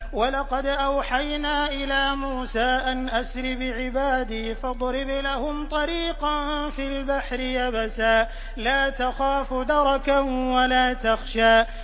وَلَقَدْ أَوْحَيْنَا إِلَىٰ مُوسَىٰ أَنْ أَسْرِ بِعِبَادِي فَاضْرِبْ لَهُمْ طَرِيقًا فِي الْبَحْرِ يَبَسًا لَّا تَخَافُ دَرَكًا وَلَا تَخْشَىٰ